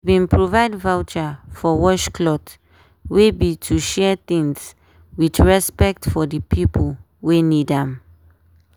we bin provide voucher for wash cloth wey be to share things with respect for di pipo wey need am.